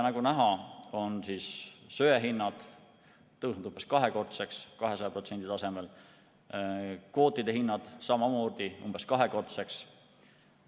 Nagu näha, on söehinnad tõusnud umbes kahekordseks, 200% tasemele, kvootide hinnad samamoodi umbes kahekordseks.